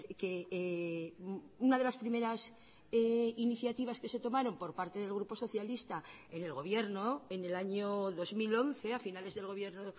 que una de las primeras iniciativas que se tomaron por parte del grupo socialista en el gobierno en el año dos mil once a finales del gobierno